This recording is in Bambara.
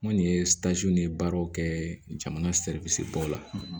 N kɔni ye baaraw kɛ jamana baw la